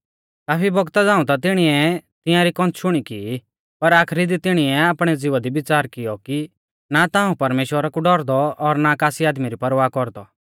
काफी बौगता झ़ांऊ ता तिणीऐ तिंआरी कौन्थशुणी की पर आखरी दी तिणीऐ आपणै ज़िवा दी विच़ार कियौ कि ना ता हाऊं परमेश्‍वरा कु डौरदौ और ना कासी आदमी री परवाह कौरदौ